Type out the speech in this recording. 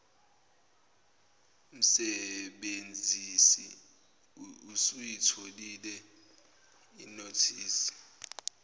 msebenzisi uyitholile inothisi